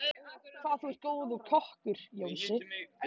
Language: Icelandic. Hvað þú er góður kokkur, Jónsi.